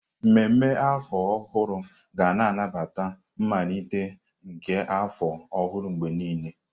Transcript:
Ememme afọ ọhụrụ ga na-anabata mmalite nke afọ ọhụrụ mgbe niile.